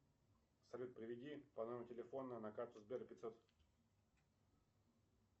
салют переведи по номеру телефона на карту сбера пятьсот